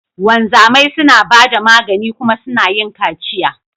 Wanzamai suna ba da magani kuma suna yin kaciya.